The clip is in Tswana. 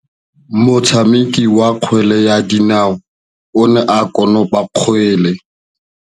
Motshameki wa kgwele ya dinaô o ne a konopa kgwele.